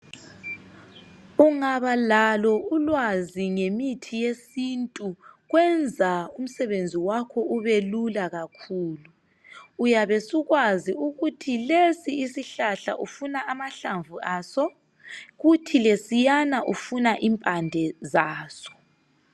Ungabalalo ulwazi ngemithi yesintu kwenza umsebenzi wakho ubelula kakhulu uyabe usukwazi ukuthi lesi isihlahla ufuna ahlamvu azo kuthi sesana ufuna impande yaso